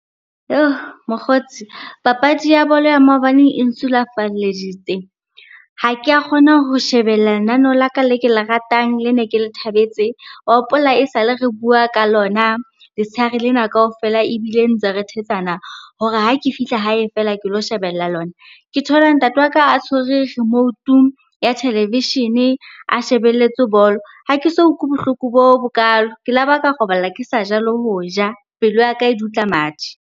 Mokgotsi papadi ya bolo ya maobane e nsulafalleditse. Ha ke a kgona ho shebella lenaneo la ka le ke le ratang lene ke le thabetse. Wa hopola esale re bua ka lona letshehare lena kaofela ebile ntse re thetsana hore ha ke fihla hae feela, ke lo shebella lona. Ke thola ntate wa ka a tshwere remote-u ya televishene a shebelletse bolo. Ha ke so utlwe ke bohloko bo bokalo, ke laba ka robala ke sa ja le ho ja, pelo ya ka e dutla madi.